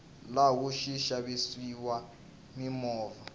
laha ku xavisiwa mimovha